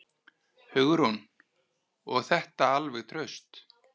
Hugrún: Og þetta alveg traust?